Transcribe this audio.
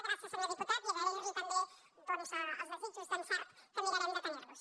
gràcies senyor diputat i agrairli també els desitjos d’encert que mirarem de tenirlos